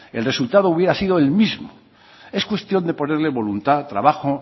el resultado hubiera sido el mismo es cuestión de ponerle voluntad trabajo